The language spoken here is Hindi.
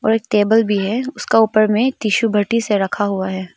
एक टेबल भी है उसका ऊपर में टिशु से रखा हुआ है।